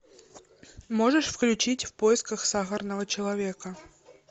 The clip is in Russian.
можешь включить в поисках сахарного человека